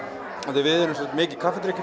því við erum mikið